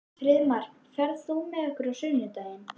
Friðmar, ferð þú með okkur á sunnudaginn?